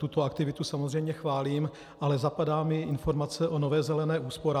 Tuto aktivitu samozřejmě chválím, ale zapadá mi informace o Nové zelené úsporám.